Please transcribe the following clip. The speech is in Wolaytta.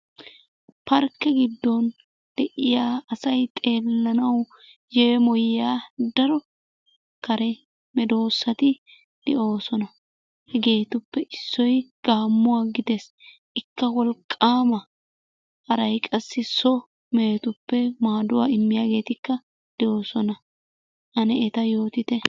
Parkke giddon de'iya asay xeellanawu yeemoyiya daro kare medoosati de'oosona. Hegeetuppe issoy Gaammuwa gidees. Ikka wolqqaama. Haray qassi so mehetuppe maaduwa immiyageetikka de'oosona. Ane eta yootite.